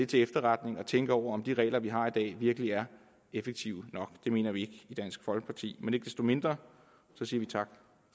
til efterretning og tænke over om de regler vi har i dag virkelig er effektive nok det mener vi i dansk folkeparti men ikke desto mindre siger vi tak